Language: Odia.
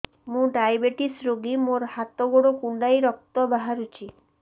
ମୁ ଡାଏବେଟିସ ରୋଗୀ ମୋର ହାତ ଗୋଡ଼ କୁଣ୍ଡାଇ ରକ୍ତ ବାହାରୁଚି